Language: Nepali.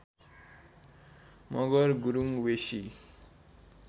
मगर गुरुङ वेशी